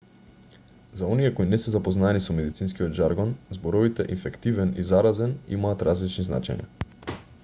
за оние кои не се запознаени со медицинскиот жаргон зборовите инфективен и заразен имаат различни значења